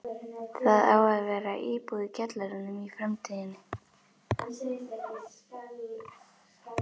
Það á að vera íbúð í kjallaranum í framtíðinni.